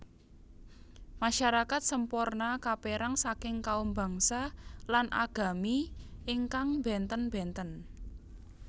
Masyarakat Semporna kaperang saking kaum bangsa lan agami ingkang benten benten